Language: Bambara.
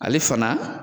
Ale fana